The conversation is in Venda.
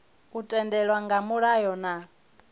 u tendelwa nga mulayo na